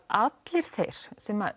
allir þeir sem